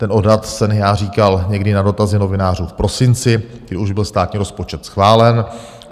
Ten odhad jsem já říkal někdy na dotazy novinářů v prosinci, kdy už byl státní rozpočet schválen.